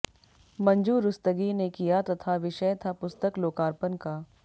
मंजु रुस्तगी ने किया तथा विषय था पुस्तक लोकार्पण का